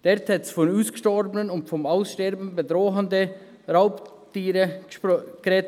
Dort wurde von ausgestorbenen und vom Aussterben bedrohten Raubtieren gesprochen.